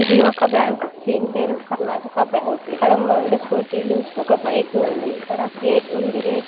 ఇది ఒక బ్యాంక్ . దీని పేరు కర్ణాటక బ్యాంక్. ఇక్కడ రెండు స్కూటీ లు ఒక బైక్ ఉంది. ఇక్కడ గేట్ ఉంది. గేట్ --